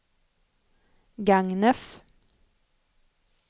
Gagnef